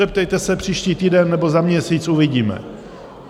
Zeptejte se příští týden nebo za měsíc, uvidíme.